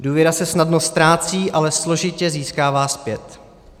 Důvěra se snadno ztrácí, ale složitě získává zpět.